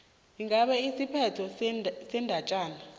ingabe isiphetho sendatjana